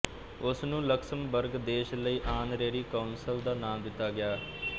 ਉਸ ਨੂੰ ਲਕਸਮਬਰਗ ਦੇਸ਼ ਲਈ ਆਨਰੇਰੀ ਕੌਂਸਲ ਦਾ ਨਾਮ ਦਿੱਤਾ ਗਿਆ